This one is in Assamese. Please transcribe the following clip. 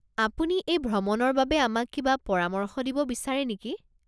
আপুনি এই ভ্ৰমণৰ বাবে আমাক কিবা পৰামৰ্শ দিব বিচাৰে নেকি?